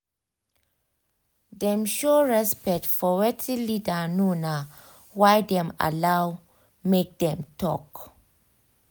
dem show respect for wetin leader know na why dem allow make dem talk